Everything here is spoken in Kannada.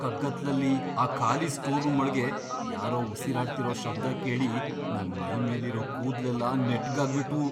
ಕಗ್ಗತ್ಲಲ್ಲಿ ಆ ಖಾಲಿ ಸ್ಟೋರ್ ರೂಂ ಒಳ್ಗೆ ಯಾರೋ ಉಸಿರಾಡ್ತಿರೋ ಶಬ್ದ ಕೇಳಿ ನನ್ ಮೈಮೇಲಿರೋ ಕೂದ್ಲೆಲ್ಲ ನೆಟ್ಗಾಗ್ ಬಿಟ್ವು.